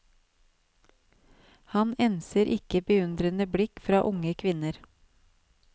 Han enser ikke beundrende blikk fra unge kvinner.